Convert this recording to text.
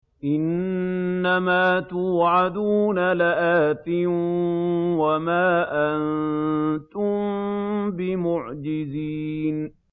إِنَّ مَا تُوعَدُونَ لَآتٍ ۖ وَمَا أَنتُم بِمُعْجِزِينَ